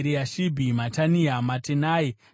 Matania, Matenai naJaasu.